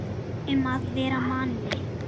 Um að vera Manni!